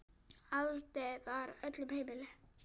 Aðild var öllum heimil.